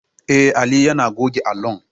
Eh, Ali yane goge allon